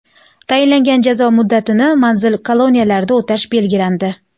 Tayinlangan jazo muddatini manzil-koloniyalarda o‘tash belgilandi.